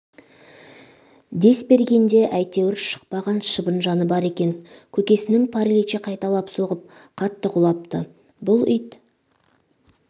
дес бергенде әйтеуір шықпаған шыбын жаны бар екен көкесінің паралич қайталап соғып қатты құлапты бұл ит